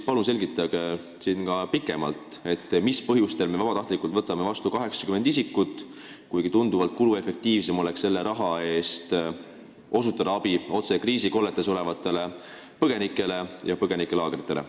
Palun selgitage siin pikemalt, mis põhjustel me vabatahtlikult võtame vastu 80 isikut, kuigi tunduvalt kuluefektiivsem oleks selle raha eest osutada abi kriisikolletes ja põgenikelaagrites olevatele inimestele.